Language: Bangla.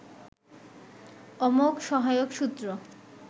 অমোঘ সহায়ক সূত্র